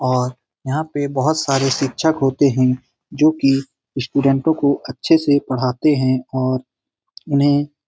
और यहाँ पे बहुत सारे शिक्षक होते हैं जो की स्टूडेंट्स को अच्छे से पढ़ाते हैं और उन्हें --